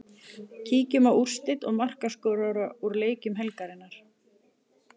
Kíkjum á úrslit og markaskorara úr leikjum helgarinnar.